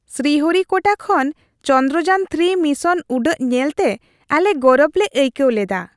ᱥᱨᱤᱦᱚᱨᱤᱠᱳᱴᱟ ᱠᱷᱚᱱ ᱪᱚᱱᱫᱨᱚᱡᱟᱱᱼ᱓ ᱢᱤᱥᱚᱱ ᱩᱰᱟᱹᱜ ᱧᱮᱞᱛᱮ ᱟᱞᱮ ᱜᱚᱨᱚᱵᱽ ᱞᱮ ᱟᱹᱭᱠᱟᱹᱣ ᱞᱮᱫᱟ ᱾